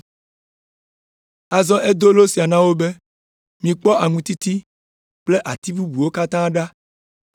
Azɔ edo lo sia na wo be, “Mikpɔ aŋutiti kple ati bubuawo katã ɖa,